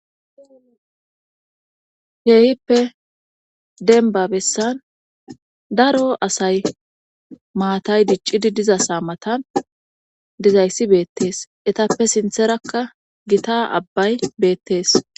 heeyippe denba bessan daro asay maatay diccidi diza sa matan dizayssi beettees etappe sintherakka gita abbay beettees